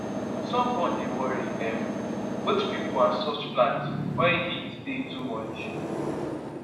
sunburn dey worry um both pipo and soft plant wen heat tey too much